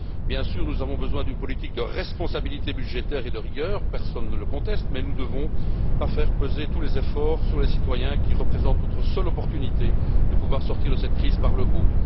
Bien sûr, nous avons besoin d'une politique de responsabilité budgétaire et de rigueur, personne ne le conteste, mais nous ne devons pas faire peser tous les efforts sur les citoyens, qui représentent notre seule opportunité de pouvoir sortir de cette crise par le haut.